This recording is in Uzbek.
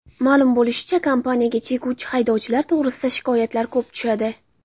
Ma’lum bo‘lishicha, kompaniyaga chekuvchi haydovchilar to‘g‘risidagi shikoyatlar ko‘p tushadi.